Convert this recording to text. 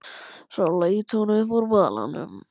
Svo leit hún upp úr balanum.